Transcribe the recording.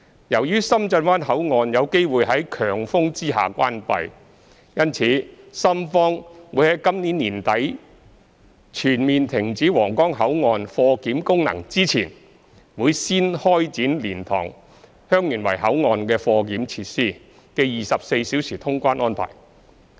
由於深圳灣口岸有機會於強風下關閉，因此深方在今年年底全面停止皇崗口岸貨檢功能之前，會準備先開展蓮塘/香園圍口岸的貨檢設施的24小時通關。